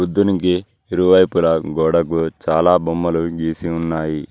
దీనికి ఇరువైపులా గోడకు చాలా బొమ్మలు గీసి ఉన్నాయి.